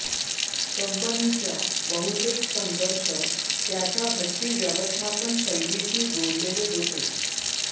कंपनीच्या बहुतेक संघर्ष त्याच्या हट्टी व्यवस्थापन शैलीशी जोडलेले होते